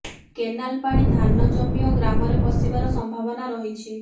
canal ପାଣି ଧାନ ଜମି ଓ ଗ୍ରାମରେ ପଶିବାର ସଂମ୍ଭାବନା ରହିଛି